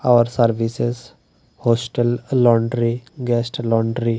Hour services hostel laundry guest laundry.